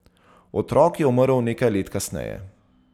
Otrok je umrl nekaj let kasneje.